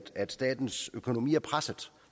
at statens økonomi er presset